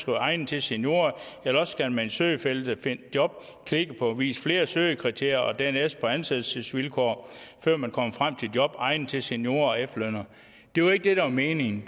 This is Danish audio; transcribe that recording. egnet til seniorer eller også skal man i søgefeltet find job klikke på vis flere søgekriterier og dernæst på ansættelsesvilkår før man kommer frem til job egnet til seniorer og efterlønnere det var ikke det der var meningen